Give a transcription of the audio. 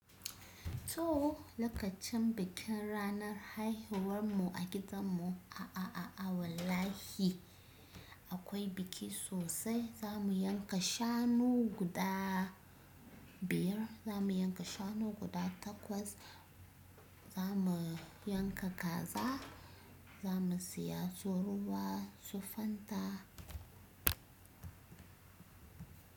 To lokacin bikin ranar haihuwar mu a gidan mu, a a a a wallahi akwai buki sosai. Za mu yanka shanu guda biyar, za mu yanka shanu guda takwas, za mu yanka kaza, za mu siya su ruwa, su fanta.